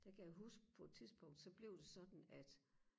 der kan jeg huske på et tidspunkt så blev det sådan at